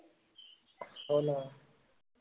हो ना